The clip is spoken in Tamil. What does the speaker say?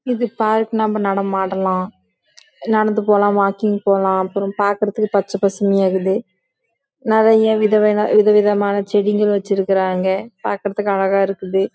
இது பார்க் நம்ப ஆடலாம் நம்ப நடந்து போலாம் நம்ப வாக்கிங் போலாம் பாக்குறதுக்கு பச்சை பசுமையை இருக்கு